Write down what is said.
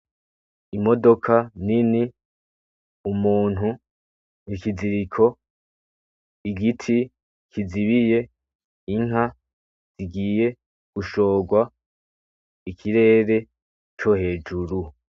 Imodoka nini, umuntu, ikiziriko, igiti kizibiye inka zigiye gushorwa ikirere co hejuru.